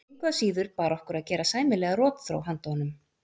Engu að síður bar okkur að gera sæmilega rotþró handa honum.